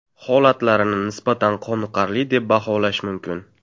Holatlarini nisbatan qoniqarli deb baholash mumkin.